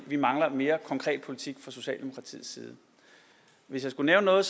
vi mangler mere konkret politik fra socialdemokratiets side hvis jeg skulle nævne noget